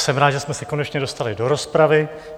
Jsem rád, že jsme se konečně dostali do rozpravy.